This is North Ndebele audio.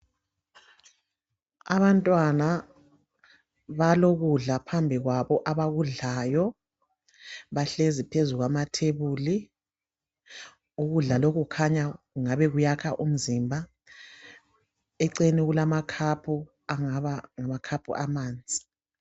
Abantwana balokudla phambi kwabo abakudlayo. Bahlezi phezu kwamathebuli. Ukudla lokhu kukhanya kuyakha umzimba eceleni kulamankomitsho angaba ngawamanzi.